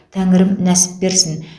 тәңірім нәсіп берсін